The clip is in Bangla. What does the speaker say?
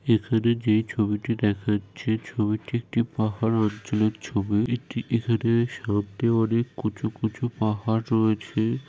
এখানে যে ছবিটি দেখা যাচ্ছে ছবিটি একটি পাহাড় অঞ্চলের ছবি একটি এখানে সামনে অনেক কুচু কুচু পাহাড় রয়েছে।